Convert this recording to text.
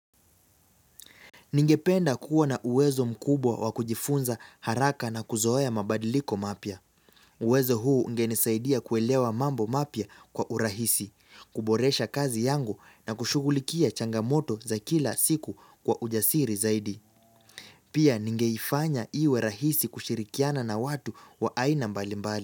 Ningependa kuwa na uwezo mkubwa wa kujifunza, haraka na kuzoea mabadiliko mapya. Uwezo huu ungenisaidia kuelewa mambo mapya kwa urahisi, kuboresha kazi yangu na kushughulikia changamoto za kila siku kwa ujasiri zaidi. Pia ningeifanya iwe rahisi kushirikiana na watu, wa aina mbalimbal.